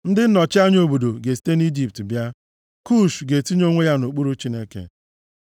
Ndị nnọchi anya obodo, ga-esite nʼIjipt bịa, Kush ga-etinye onwe ya nʼokpuru Chineke.